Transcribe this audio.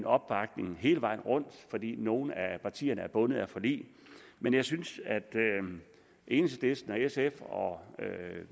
opbakning hele vejen rundt fordi nogle af partierne er bundet af forlig men jeg synes at enhedslisten og sf og